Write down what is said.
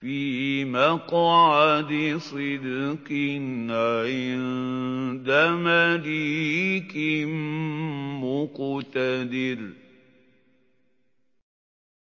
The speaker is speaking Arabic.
فِي مَقْعَدِ صِدْقٍ عِندَ مَلِيكٍ مُّقْتَدِرٍ